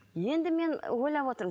енді мен ойлап отырмын